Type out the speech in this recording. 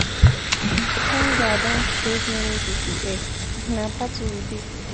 Hunger don shave many people hair, na battle we dey.